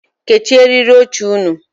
Kechie eriri oche ụnụ.